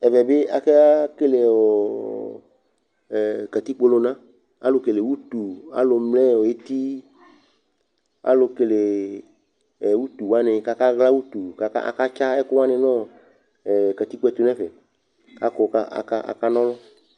Ɛvɛ bɩ aka akekele ɔ ɛ katikpolʋna Alʋkele utu, alʋmlɛ eti, alʋkele utu wanɩ kʋ akaɣla utu kʋ akatsa ɛkʋ wanɩ nʋ ɔ katikpo yɛ tʋ nʋ ɛfɛ kʋ akɔ kʋ akana ɔlʋ